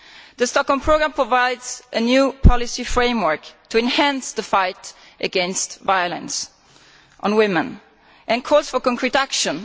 The Stockholm Programme provides a new policy framework to enhance the fight against violence on women and calls for concrete action.